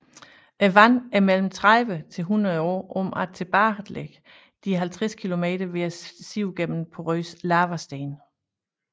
Vandet er mellem 30 til 100 år om at tilbagelægge de 50 kilometer ved at sive gennem porøs lavasten